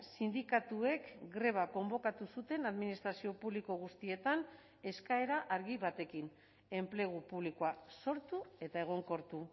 sindikatuek greba konbokatu zuten administrazio publiko guztietan eskaera argi batekin enplegu publikoa sortu eta egonkortu